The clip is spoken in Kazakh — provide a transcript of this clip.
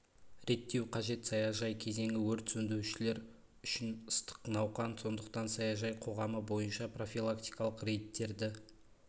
реттеу қажет саяжай кезеңі өрт сөндірушілер үшін ыстық науқан сондықтан саяжай қоғамы бойынша профилактикалық рейдтерді